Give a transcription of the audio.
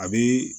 A bi